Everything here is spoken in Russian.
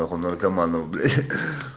как у наркоманов блять